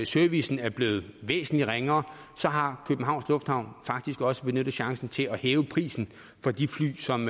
servicen er blevet væsentlig ringere har københavns lufthavn faktisk også benyttet chancen til at hæve prisen for de fly som